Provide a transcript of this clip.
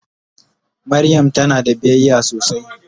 Mariam tana da biyayya sosai.